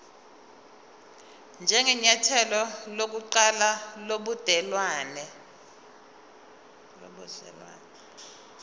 njengenyathelo lokuqala lobudelwane